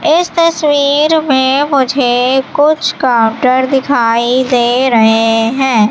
इस तस्वीर में मुझे कुछ काउंटर दिखाई दे रहे हैं।